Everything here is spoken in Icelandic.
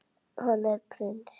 Hann er prins.